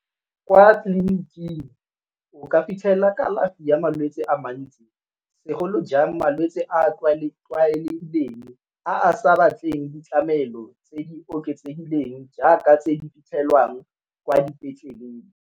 Kwa tleliniking o ka fitlhela kalafi ya malwetsi a mantsi segolo jang malwetsi a tlwaelegileng a a sa batleng ditlamelo tse di oketsegileng jaaka tse di fitlhelwang kwa dipetleleng.